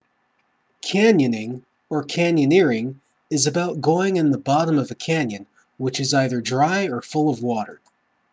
canyoning or: canyoneering is about going in a bottom of a canyon which is either dry or full of water